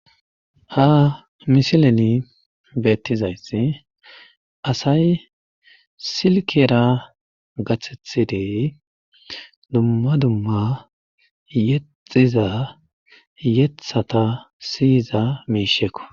ha misileni beettizayssi asay silkera gaththethidey dumma dumma yexiza yeththata siyiza miishekko